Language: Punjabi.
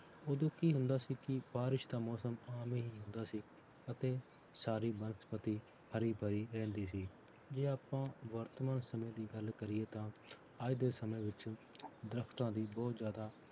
ਉਦੋਂ ਕੀ ਹੁੰਦਾ ਸੀ ਕਿ ਬਾਰਿਸ਼ ਦਾ ਮੌਸਮ ਆਮ ਹੀ ਹੁੰਦਾ ਸੀ, ਅਤੇ ਸਾਰੀ ਬਨਸਪਤੀ ਹਰੀ ਭਰੀ ਰਹਿੰਦੀ ਸੀ ਜੇ ਆਪਾਂ ਵਰਤਮਾਨ ਸਮੇਂ ਦੀ ਗੱਲ ਕਰੀਏ ਤਾਂ ਅੱਜ ਦੇ ਸਮੇਂ ਵਿੱਚ ਦਰਖਤਾਂ ਦੀ ਬਹੁਤ ਜ਼ਿਆਦਾ